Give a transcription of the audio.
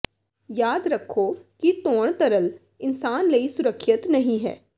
ਯਾਦ ਰੱਖੋ ਕਿ ਧੋਣ ਤਰਲ ਇਨਸਾਨ ਲਈ ਸੁਰੱਖਿਅਤ ਨਹੀ ਹੈ